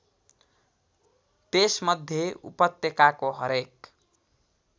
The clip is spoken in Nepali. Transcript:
त्यसमध्ये उपत्यकाको हरेक